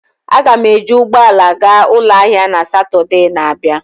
Aga m eji ụgbọ ala gaa ụlọ ahịa na Satọde na-abịa.